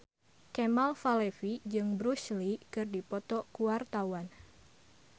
Kemal Palevi jeung Bruce Lee keur dipoto ku wartawan